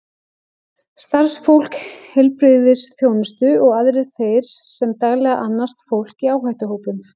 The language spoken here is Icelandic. Starfsfólk heilbrigðisþjónustu og aðrir þeir sem daglega annast fólk í áhættuhópum.